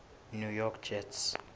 new york jets